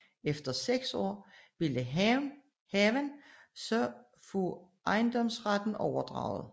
Efter seks år ville haven så få ejendomsretten overdraget